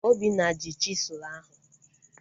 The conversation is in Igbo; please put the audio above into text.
Obinna ji chisụl ahu